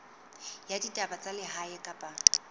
ya ditaba tsa lehae kapa